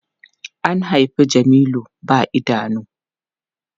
An haifi Jamilu ba idanu.